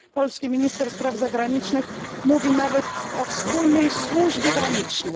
Polski minister spraw zagranicznych mówi nawet o wspólnej służbie granicznej.